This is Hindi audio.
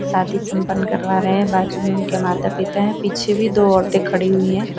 शादी संपन्न करवा रहे हैं बाजू में उनके माता पिता हैं पीछे भी दो औरतें खड़ी हुई हैं।